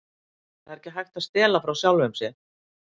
Það er ekki hægt að stela frá sjálfum sér.